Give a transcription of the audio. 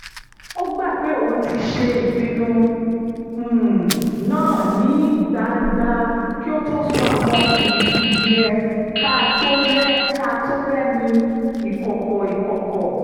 ó gbà pé òun ti ṣe ìpinnu um náà ní gbangba kí ó tó sọ àwọn ìkùdíẹ̀-káàtó rẹ̀ ní ìkọ̀kọ̀ ìkọ̀kọ̀